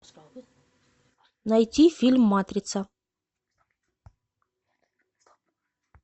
найти фильм матрица